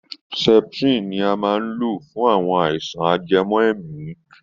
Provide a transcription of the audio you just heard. Septrin ni a maá ń lo fún àwọn àìsàn ajẹmọ́ èèmí.